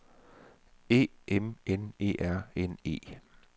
E M N E R N E